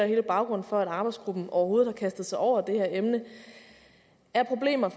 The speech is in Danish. hele baggrunden for at arbejdsgruppen overhovedet har kastet sig over det her emne er problemer